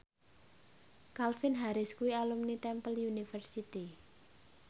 Calvin Harris kuwi alumni Temple University